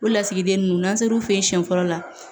O lasigiden ninnu n'an sera u fɛ yen siɲɛ fɔlɔ la